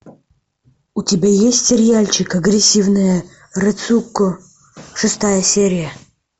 у тебя есть сериальчик агрессивная рэцуко шестая серия